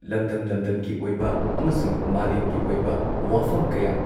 ꯂꯝꯗꯝ-ꯂꯝꯗꯝꯒꯤ ꯑꯣꯏꯕ ꯑꯃꯁꯨꯡ ꯃꯥꯂꯦꯝꯒꯤ ꯑꯣꯏꯕ ꯋꯥꯐꯝ ꯀꯌꯥ